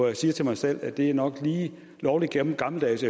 jeg til mig selv at det nok er lige lovlig gammeldags